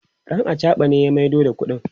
ɗan achaɓa ne ya maido da ƙuɗin